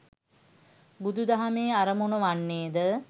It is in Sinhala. බුදු දහමේ අරමුණ වන්නේ ද